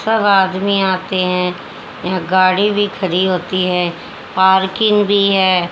सब आदमी आते हैं यहा गाड़ी भी खड़ी होती है पार्किंग भी है।